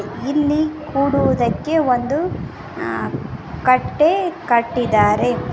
ಇಲ್ಲಿ ಕುಡುವುದಕ್ಕೆ ಒಂದು ಅ ಕಟ್ಟೆ ಕಟ್ಟಿದಾರೆ.